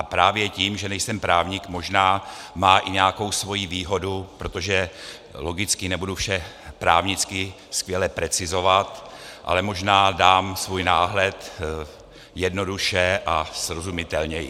A právě to, že nejsem právník, možná má i nějakou svoji výhodu, protože logicky nebudu vše právnicky skvěle precizovat, ale možná dám svůj náhled jednoduše a srozumitelněji.